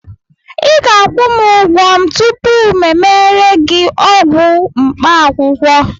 ị ga-akwụ m ụgwọ tupu m emere gị ọgwụ mkpaakwụkwọ